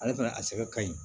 Ale fana a sɛbɛn ka ɲi